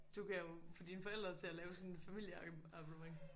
Du kan jo få dine forældre til at lave sådan et familie abonnement